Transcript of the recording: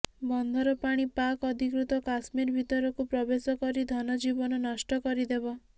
ବନ୍ଧର ପାଣି ପାକ୍ ଅଧିକୃତ କାଶ୍ମୀର ଭିତରକୁ ପ୍ରବେଶ କରି ଧନଜୀବନ ନଷ୍ଟ କରିଦେବ